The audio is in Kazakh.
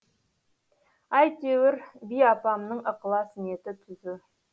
әйтеуір би апамның ықылас ниеті түзу